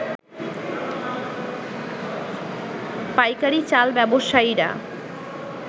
পাইকারী চাল ব্যবসায়ীরা